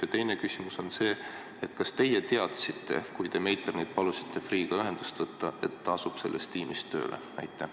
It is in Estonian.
Ja teine küsimus on selline: kas teie teadsite, kui palusite Meiternil Freeh'ga ühendust võtta, et ta asub selles tiimis tööle?